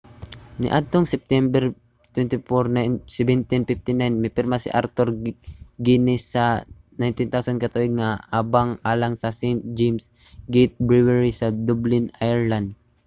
niadtong septiyembre 24 1759 mipirma si arthur guinness sa 9,000 ka tuig nga abang alang sa st james' gate brewery sa dublin ireland